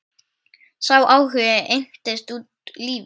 Sá áhugi entist út lífið.